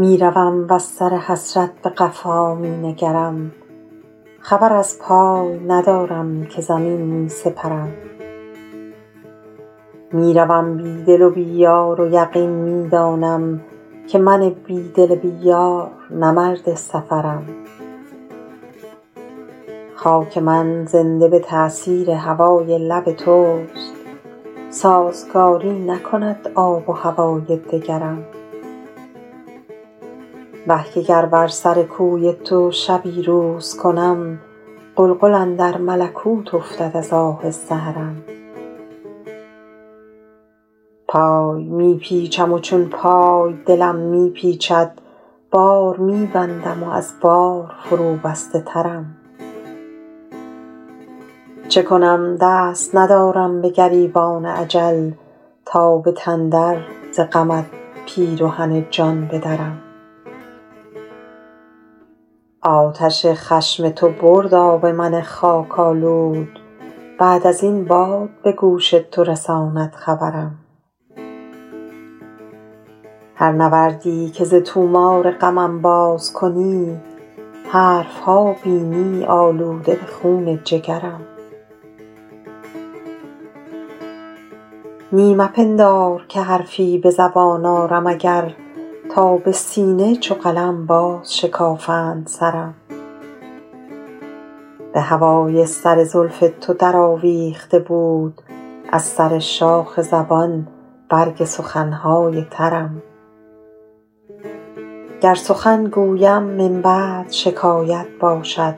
می روم وز سر حسرت به قفا می نگرم خبر از پای ندارم که زمین می سپرم می روم بی دل و بی یار و یقین می دانم که من بی دل بی یار نه مرد سفرم خاک من زنده به تأثیر هوای لب توست سازگاری نکند آب و هوای دگرم وه که گر بر سر کوی تو شبی روز کنم غلغل اندر ملکوت افتد از آه سحرم پای می پیچم و چون پای دلم می پیچد بار می بندم و از بار فروبسته ترم چه کنم دست ندارم به گریبان اجل تا به تن در ز غمت پیرهن جان بدرم آتش خشم تو برد آب من خاک آلود بعد از این باد به گوش تو رساند خبرم هر نوردی که ز طومار غمم باز کنی حرف ها بینی آلوده به خون جگرم نی مپندار که حرفی به زبان آرم اگر تا به سینه چو قلم بازشکافند سرم به هوای سر زلف تو درآویخته بود از سر شاخ زبان برگ سخن های ترم گر سخن گویم من بعد شکایت باشد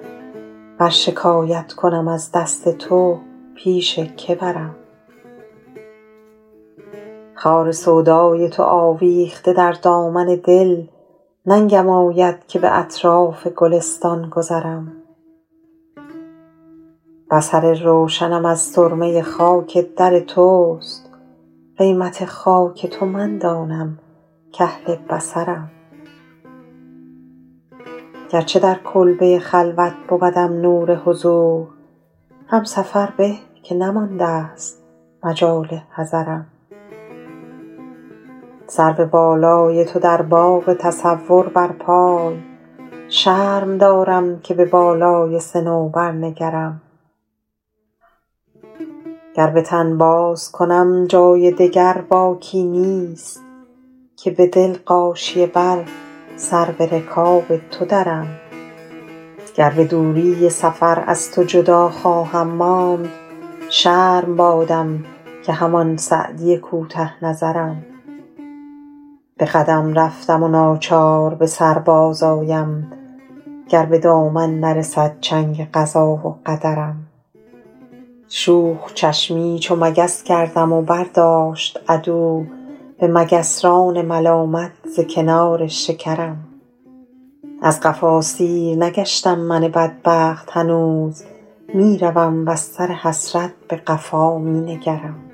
ور شکایت کنم از دست تو پیش که برم خار سودای تو آویخته در دامن دل ننگم آید که به اطراف گلستان گذرم بصر روشنم از سرمه خاک در توست قیمت خاک تو من دانم کاهل بصرم گرچه در کلبه خلوت بودم نور حضور هم سفر به که نماندست مجال حضرم سرو بالای تو در باغ تصور برپای شرم دارم که به بالای صنوبر نگرم گر به تن بازکنم جای دگر باکی نیست که به دل غاشیه بر سر به رکاب تو درم گر به دوری سفر از تو جدا خواهم ماند شرم بادم که همان سعدی کوته نظرم به قدم رفتم و ناچار به سر بازآیم گر به دامن نرسد چنگ قضا و قدرم شوخ چشمی چو مگس کردم و برداشت عدو به مگسران ملامت ز کنار شکرم از قفا سیر نگشتم من بدبخت هنوز می روم وز سر حسرت به قفا می نگرم